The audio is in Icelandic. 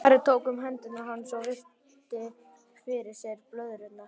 Ari tók um hendur hans og virti fyrir sér blöðrurnar.